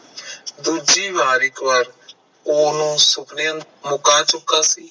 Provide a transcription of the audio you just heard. ਦੂਜੀ ਵਾਰ ਇਕ ਵਾਰ ਓਹਨੂੰ ਸੁਪਨੇ ਚ ਮੁਕਾ ਚੁੱਕਾ ਸੀ